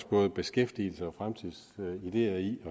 både beskæftigelse og fremtidsideer i